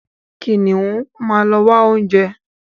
Kìnìún máa ń ló wá oúnjẹ.